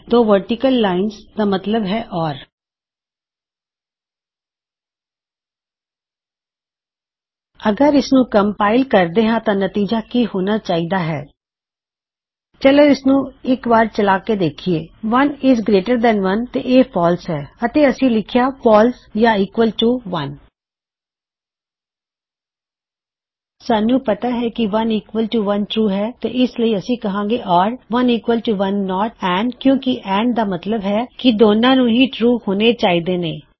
ਦੋ vertical lines ਦਾ ਮਤਲਬ ਹੈ ਓਰ ਅਗਰ ਇਸਨੂੰ ਕਨਪਾਇਲ ਕਰਿਏ ਤਾਂ ਨਤਿਜਾ ਕਿ ਹੋਣਾ ਚਾਹੀਦਾ ਹੈ160 ਚਲੋ ਇਸਨੂੰ ਇੱਕ ਵਾਰ ਚਲਾਕੇ ਵੇਖਿਏ 1 ਇਜ਼ ਗਰੇਇਟਰ ਦੈਨ 1 - ਤੇ ਇਹ ਫਾਲਸ ਹੈ ਅਤੇ ਅਸੀ ਲਿਖਿਆ ਫਾਲਸ ਓਰ 1 ਈਕਵਲ ਟੂ 1 ਸਾਨੂੰ ਪਤਾ ਹੈ ਕਿ 1 ਈਕਵਲ ਟੂ 1 ਟਰੂ ਹੈ ਤੇ ਇਸ ਲਈ ਅਸੀਂ ਕਹਾਂਗੇ or 1 equal to 1 not and ਕਿਉਂ ਕਿ ਐਨਡ ਦਾ ਮਤਲਬ ਹੈ ਕਿ ਦੋਨਾ ਨੂੰ ਹੀ ਟਰੂ ਹੋਣੇ ਚਾਹੀਦੇ ਨੇਂ